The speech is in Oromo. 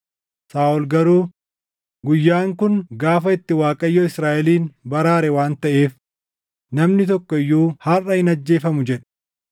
Saaʼol garuu, “Guyyaan kun gaafa itti Waaqayyo Israaʼelin baraare waan taʼeef namni tokko iyyuu harʼa hin ajjeefamu” jedhe.